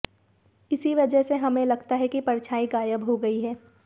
इसी वजह से हमें लगता है कि परछाई गायब हो गई है